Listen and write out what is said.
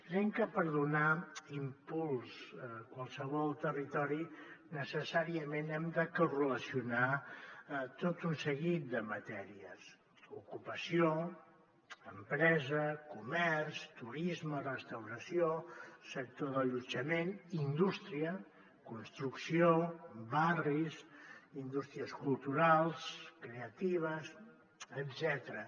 creiem que per donar impuls a qualsevol territori necessàriament hem de correlacionar tot un seguit de matèries ocupació empresa comerç turisme restauració sector d’allotjament indústria construcció barris indústries culturals creatives etcètera